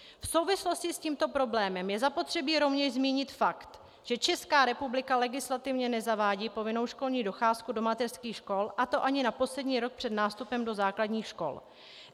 V souvislosti s tímto problémem je zapotřebí rovněž zmínit fakt, že Česká republika legislativně nezavádí povinnou školní docházku do mateřských škol, a to ani na poslední rok před nástupem do základních škol.